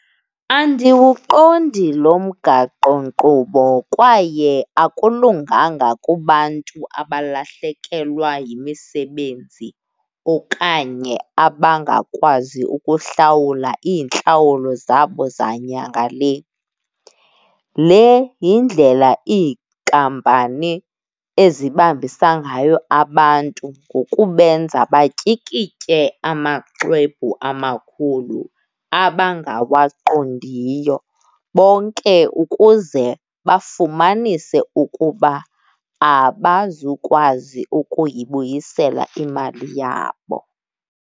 Andiwuqondi lo mgaqonkqubo kwaye akulunganga kubantu abalahlekekelwa yimisebenzi okanye abangakwazi ukuhlawula iintlawulo zabo zanyanga le. Le yindlela iinkampani ezibambisa ngayo abantu ngokubenza batyikitye amaxwebhu amakhulu abangawaqondiyo bonke ukuze bafumanise ukuba abazukwazi ukuyibuyisela imali yabo.